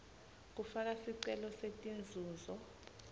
kufaka sicelo setinzuzo